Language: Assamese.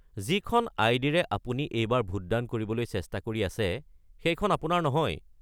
যিখন আই.ডি.-ৰে আপুনি এইবাৰ ভোট দান কৰিবলৈ চেষ্টা কৰি আছে, সেইখন আপোনাৰ নহয়।